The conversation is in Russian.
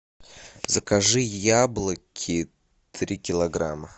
закажи яблоки три килограмма